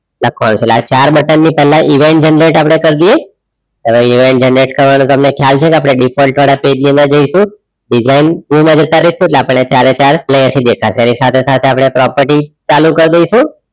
લખવાનું છે એટલે ચાર button ની પેલા event generate આપણે કાર્ડિયો હવે event generate કરવાનું તમે ખ્યાલ છે કે આપડે default વાળા page ની અંદર જઈસુ design tool માં જતા રાઈશુ એટલે આપડે ચારે ચાર વ્યવસ્થિત દેખાશે એની સાથે સાથે આપણે property ચાલુ કર દેઇશુ